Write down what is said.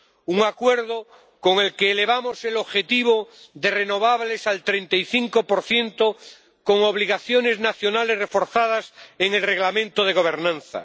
Un acuerdo con el que elevamos el objetivo de renovables al 35 con obligaciones nacionales reforzadas en el Reglamento de gobernanza.